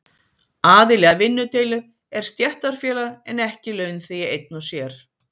Aðili að vinnudeilu er stéttarfélag en ekki launþegi einn og sér.